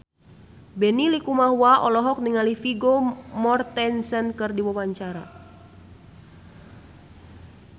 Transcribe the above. Benny Likumahua olohok ningali Vigo Mortensen keur diwawancara